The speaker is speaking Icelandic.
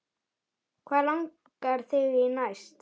Hvað langar þig í næst?